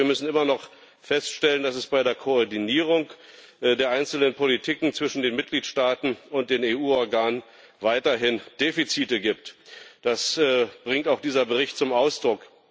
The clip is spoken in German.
Wir müssen aber immer noch feststellen, dass es bei der Koordinierung der einzelnen Politiken zwischen den Mitgliedstaaten und den EU Organen weiterhin Defizite gibt. Das bringt auch dieser Bericht zum Ausdruck.